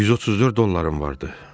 134 dollarım vardı.